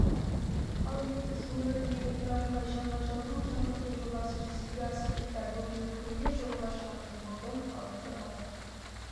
ал ертіс өңіріндегі трамвай шаруашылығын жаңғырту жобасы жүзеге асырылуда бүгінде күнде жолға шығатын вагон халықты бағыт